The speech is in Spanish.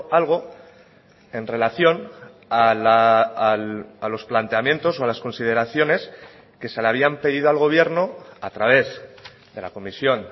algo en relación a los planteamientos o a las consideraciones que se le habían pedido al gobierno a través de la comisión